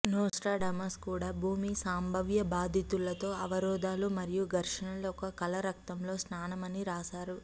Nostradamus కూడా భూమి సంభావ్య బాధితుల తో అవరోధాలు మరియు ఘర్షణల ఒక కల రక్తంలో స్నానం అని రాశారు